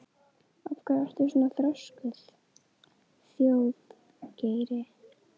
Af hverju ertu svona þrjóskur, Þjóðgeir?